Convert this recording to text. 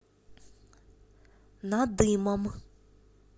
надымом